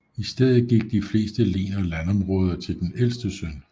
I stedet gik de fleste len og landområder til den ældste søn